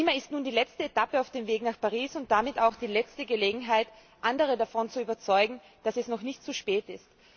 Lima ist nun die letzte Etappe auf dem Weg nach Paris und damit auch die letzte Gelegenheit, andere davon zu überzeugen, dass es noch nicht zu spät ist.